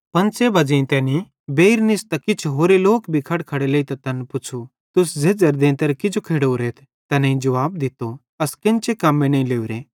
पंच़े बज़ेइं तैनी बेइर निस्तां किछ होरे लोक भी खड़खड़े लेइतां तैन पुच़्छ़ू तुस झ़ेझ़ेरे देंते किजो खेड़ोरेथ तैनेईं जुवाब दित्तो अस केन्चे कम्मे नईं लोरे